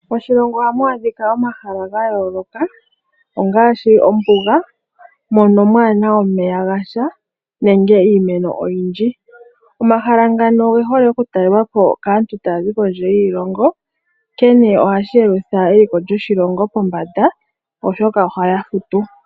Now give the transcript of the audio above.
Moshilongo ohamu adhika omahala ga yooloka ngaaashi Ombuga mono kamuna omeya gasha nenge iimeno oyindji . Omahala ngano oge hole okutalelwapo kaantu tayazi kondje yiilongo nkene ohashi yelutha eliko lyoshilongo pombanda oshoka ohaya futu.